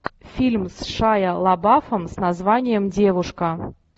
фильм с шайа лабафом с названием девушка